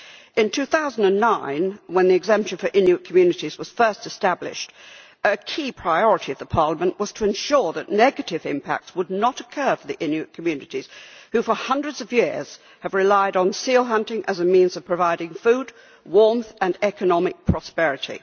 In 2009, when the exemption for Inuit communities was first established, a key priority of Parliament was to ensure that negative impacts would not occur for the Inuit communities, who for hundreds of years have relied on seal hunting as a means of providing food, warmth and economic prosperity.